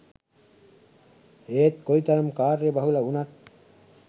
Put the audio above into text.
ඒත් කොයි තරම් කාර්යබහුල වුණත්